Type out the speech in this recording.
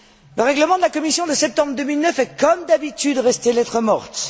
Le règlement de la Commission de septembre 2009 est comme d'habitude resté lettre morte.